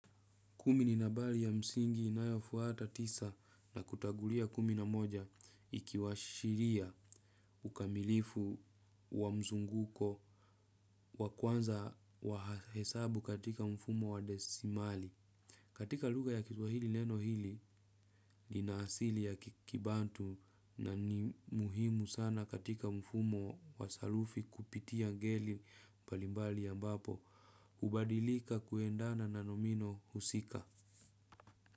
Kumi ni nambari ya msingi inayofuata tisa na kutangulia kumi na moja ikiwashiria ukamilifu wa mzunguko wa kwanza wa hesabu katika mfumo wa desimali. Katika lugha ya kiswahili neno hili lina asili ya kibantu na ni muhimu sana katika mfumo wa sarufi kupitia ngeli mbalimbali ambapo. Hubadilika kuendana na nomino husika.